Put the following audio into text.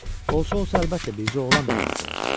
Olsa-olsa, əlbəttə, bircə oğlan narahat olacaq.